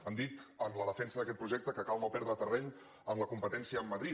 han dit en la defensa d’aquest projecte que cal no per·dre terreny en la competència amb madrid